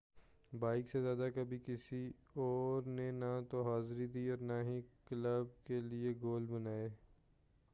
بابیک سے زیادہ کبھی کسی اور نے نہ تو حاضری دی اور نہ ہی کلب کے لئے گول بنائے